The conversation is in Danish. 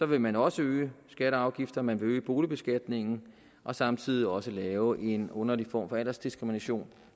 vil man også øge skatter og afgifter man vil øge boligbeskatningen og samtidig også lave en underlig form for aldersdiskrimination